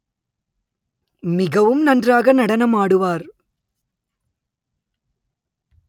மிகவும் நன்றாக நடனம் ஆடுவார்